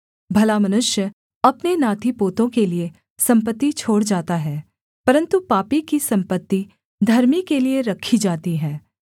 भला मनुष्य अपने नातीपोतों के लिये सम्पत्ति छोड़ जाता है परन्तु पापी की सम्पत्ति धर्मी के लिये रखी जाती है